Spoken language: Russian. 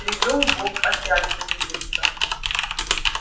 привёл бог опять увидеться